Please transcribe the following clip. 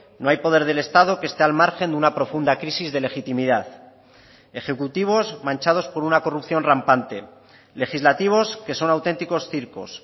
no hay poder del estado que este al margen de una profunda crisis de legitimidad ejecutivos manchados por una corrupción rampante legislativos que son auténticos circos